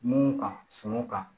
Mun ka sunɔgɔ kan